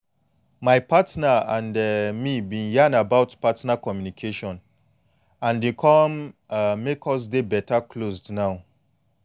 my partner and um me been yan about partner communication and e come um make us dey beta closed now